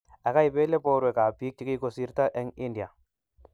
akaibele borwekab biik che kikusirto eng' India.